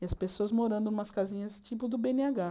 E as pessoas morando em umas casinhas tipo do bê êne agá.